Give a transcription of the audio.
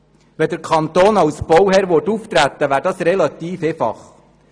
Würde der Kanton als Bauherr auftreten, wäre das relativ einfach.